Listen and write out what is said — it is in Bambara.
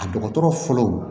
A dɔgɔtɔrɔ fɔlɔ